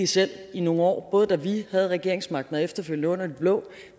selv i nogle år både da vi havde regeringsmagten og efterfølgende under de blå